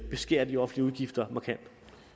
beskære de offentlige udgifter markant